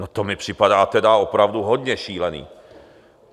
No, to mi připadá tedy opravdu hodně šílené!